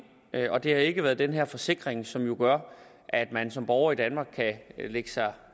og det har ikke været den her forsikring som jo gør at man som borger i danmark kan lægge sig